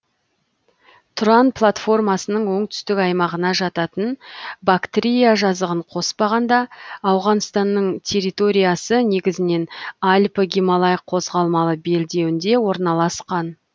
тұран платформасының оңтүстік аймағына жататын бактрия жазығын қоспағанда ауғанстанның территориясы негізінен алпі гималай қозғалмалы белдеуінде орналасқан